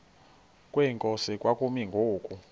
kwenkosi kwakumi ngoku